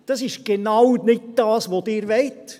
Das ist genau nicht das, was Sie wollen.